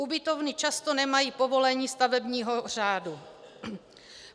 Ubytovny často nemají povolení stavebního úřadu.